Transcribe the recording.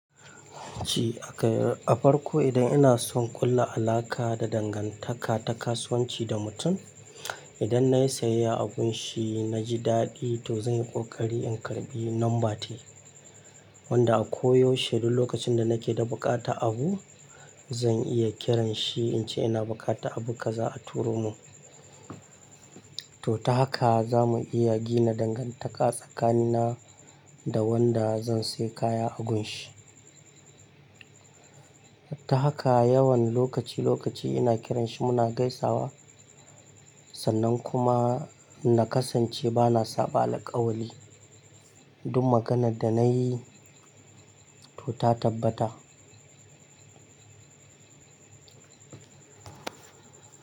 Ci akai a farko idan ina son ƙulla alaƙa da dangantaka ta kasuwanci da mutum, idan na yi sayayya a gunshi na ji daɗi to zan yi ƙoƙari in karɓi number tai. Wanda a koyaushe duk lokacin da nake da buƙatar abu, zan iya kiran shi in ce ina buƙatar abu kaza a turo mun. To ta haka zamu iya gina dangantaka tsakanina da wanda zan saya kaya a gunshi. Ta haka yawan lokaci lokaci ina kiran shi muna gaisawa, sannan kuma na kasance bana saba alƙawali. Duk maganan da na yi, to ta tabbata.